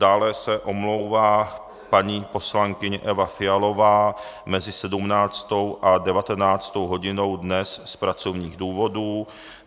Dále se omlouvá paní poslankyně Eva Fialová mezi 17. a 19. hodinou dnes z pracovních důvodů.